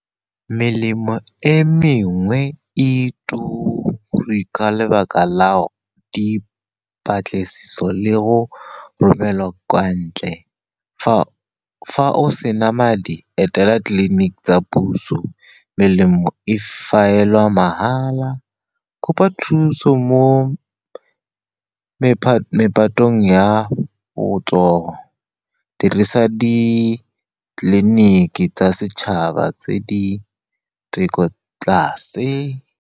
Melemo e mengwe e turi ka lebaka la dipatlisiso le go romelwa kwa ntle. Fa o sena madi, etela tleliniki tsa puso, melemo e mahala. Kopa thuso mo mephatong ya botsogo. Dirisa ditleliniki tsa setšhaba tse di theko tlase.